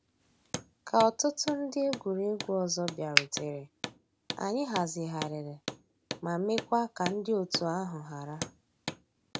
Kà òtùtù ńdí egwuregwu ọzọ bịàrùtèrè, ànyị̀ hazighàrìrì ma mekwaa ka ńdí ọ̀tù àhụ̀ hárà.